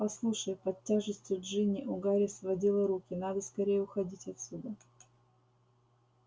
послушай под тяжестью джинни у гарри сводило руки надо скорее уходить отсюда